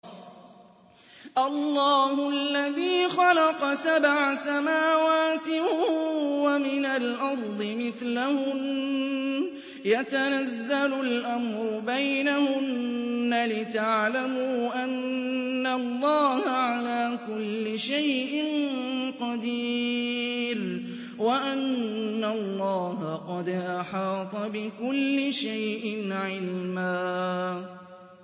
اللَّهُ الَّذِي خَلَقَ سَبْعَ سَمَاوَاتٍ وَمِنَ الْأَرْضِ مِثْلَهُنَّ يَتَنَزَّلُ الْأَمْرُ بَيْنَهُنَّ لِتَعْلَمُوا أَنَّ اللَّهَ عَلَىٰ كُلِّ شَيْءٍ قَدِيرٌ وَأَنَّ اللَّهَ قَدْ أَحَاطَ بِكُلِّ شَيْءٍ عِلْمًا